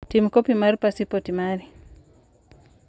Tim kopi mar pasipoti mari.